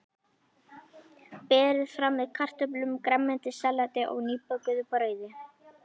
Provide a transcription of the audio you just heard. Berið fram með kartöflum, grænmetissalati og nýbökuðu brauði.